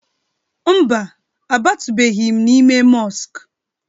Mba, abatụbeghi m n'ime mọsk